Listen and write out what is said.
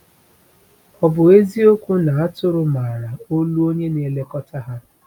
O bụ eziokwu na atụrụ maara olu onye na-elekọta ha?